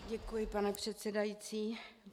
Děkuji, pane předsedající.